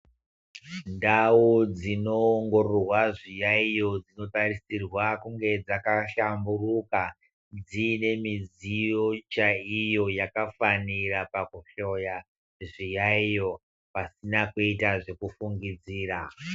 Ndau dzinoongororwa zviyayo dzinotarisirwa kunge dzakashamburuka dzine midziyo chaiyo yakafanira pakuhloya zviyaiyo pasina kuita zvekufungidzira.